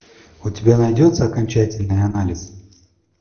у тебя найдется окончательный анализ